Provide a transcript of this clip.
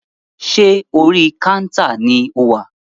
Ṣé orí kántà ni o wà?